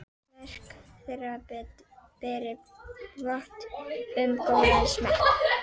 Verk þeirra beri vott um góðan smekk.